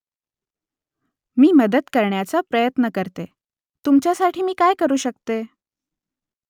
मी मदत करण्याचा प्रयत्न करते . तुमच्यासाठी मी काय करू शकते ?